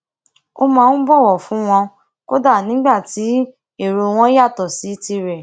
ó máa ń bòwò fún wọn kódà nígbà tí èrò wọn yàtò sí tirè